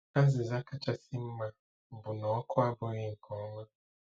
Azịza kachasị mma bụ na ọkụ abụghị nke ọma.